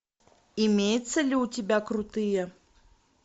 имеется ли у тебя крутые